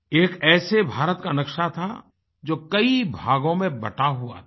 ये एक ऐसे भारत का नक्शा था जो कई भागों में बंटा हुआ था